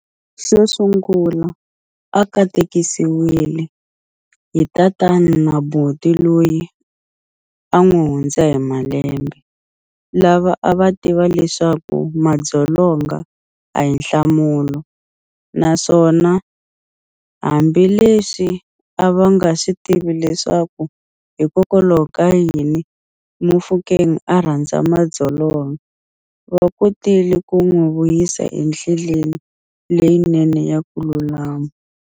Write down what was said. Xo sungula, a katekisiwile hi tatana na buti loyi a n'wi hundza hi malembe, lava a va tiva leswaku madzolo nga a hi nhlamulo, naswona hambileswi a va nga swi tiva leswaku hikokwalaho ka yini Mofokeng a rhandza madzolonga, va kotile ku n'wi vuyisa endleleni leyinene ya ku lulama.